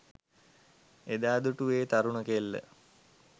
එදා දුටු ඒ තරුණ කෙල්ල